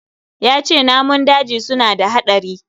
Yace namun daji suna da hadari